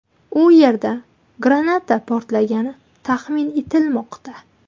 U yerda granata portlagani taxmin etilmoqda.